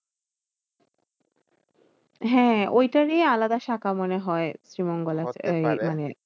হ্যাঁ ঐটারই আলাদা শাখা মনে হয়। শ্রীমঙ্গলর এই মানে